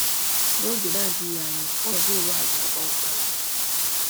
N'oge na-adịghị anya ọnọdụ ụwa a ga-agbanwe kpamkpam.